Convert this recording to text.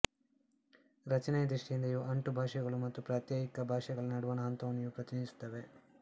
ರಚನೆಯ ದೃಷ್ಟಿಯಿಂದ ಇವು ಅಂಟುಭಾಷೆಗಳು ಮತ್ತು ಪ್ರಾತ್ಯಯಿಕ ಭಾಷೆಗಳ ನಡುವಣ ಹಂತವನ್ನು ಇವು ಪ್ರತಿನಿಧಿಸುತ್ತವೆ